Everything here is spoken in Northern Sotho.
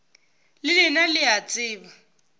le lena le a tseba